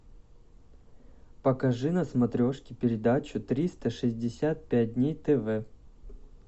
покажи на смотрешке передачу триста шестьдесят пять дней тв